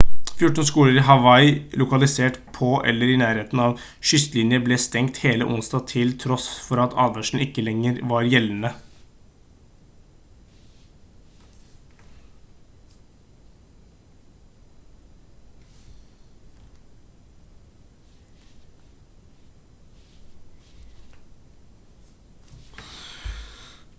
14 skoler i hawaii lokalisert på eller i nærheten av kystlinjer ble stengt hele onsdag til tross for at advarslene ikke lenger var gjeldende